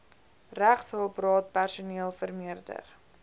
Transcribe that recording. regshulpraad personeel vermeerder